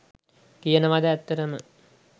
කියනවද ඇත්තටම